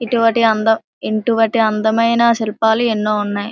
ఇటువటి అందం ఇంటువటి అందమైన శిల్పాలు ఎన్నో ఉన్నాయి.